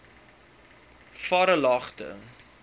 varelagte